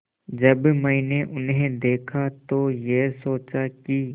जब मैंने उन्हें देखा तो ये सोचा कि